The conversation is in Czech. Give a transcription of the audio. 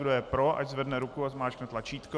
Kdo je pro, ať zvedne ruku a zmáčkne tlačítko.